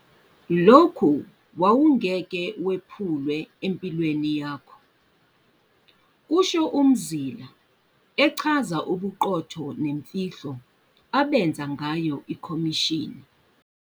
lokhu wawungeke wephulwe empilweni yakho ", kusho uMzila echaza ubuqotho nemfihlo abenza ngayo ikhomishini.